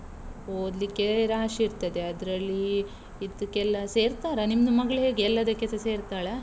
ಓದ್ಲಿಕ್ಕೆ ರಾಶಿ ಇರ್ತದೆ, ಅದ್ರಲ್ಲೀ ಇದಕ್ಕೆಲ್ಲ ಸೇರ್ತಾರಾ? ನಿಮ್ದು ಮಗ್ಳ್ ಹೇಗೆ? ಎಲ್ಲದಕ್ಕೆಸ ಸೇರ್ತಾಳಾ?